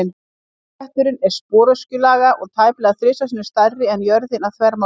Rauði bletturinn er sporöskjulaga og tæplega þrisvar sinnum stærri en jörðin að þvermáli.